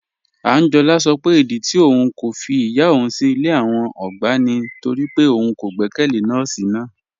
Ànjọ́lá sọ pé ìdí tì ọ̀un kò fí ìyá ọ̀un sí ilẹ̀ àwọn ọ̀gbá ni nítorí pé ọ̀un kò gbẹkẹlé nọọ̀sí náà